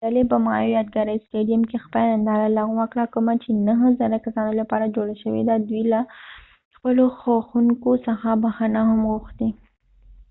ډلې په مایو یادګاری ستیديم کې خپله ننداره لغوه کړه کومه چې نهه زره کسانو لپاره جوړه شوي وه دوي له خپلو خوښونکو څخه بخښنه هم غوښتی